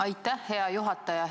Aitäh, hea juhataja!